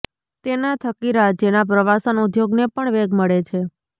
તેના થકી રાજયના પ્રવાસન ઉદ્યોગને પણ વેગ મળે છે